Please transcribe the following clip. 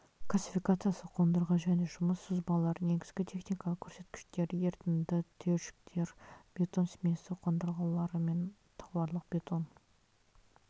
классификациясы қондырғы және жұмыс сызбалары негізгі техникалық көрсеткіштері ерітінді түйіршіктер бетон смесі қондырғылары мен тауарлық бетон